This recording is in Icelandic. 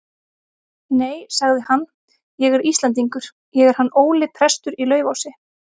Nei, sagði hann,-ég er Íslendingur, ég er hann Óli prestur í Laufási.